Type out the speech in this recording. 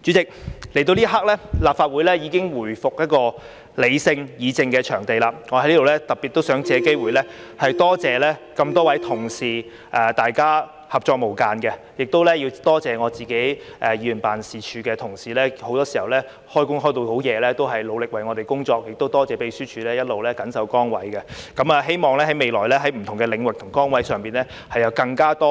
主席，來到這一刻，立法會已回復理性議政的場地，我在此特別想借機會多謝多位同事大家合作無間，亦要多謝我自己議員辦事處的同事很多時候到很晚仍在努力為我們工作，亦多謝秘書處一直緊守崗位；希望未來在不同的領域和崗位上，有更多合作空間。